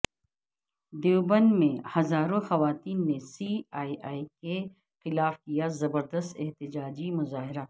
دیوبند میں ہزاروں خواتین نے سی اے اے کے خلاف کیا زبر دست احتجاجی مظاہرہ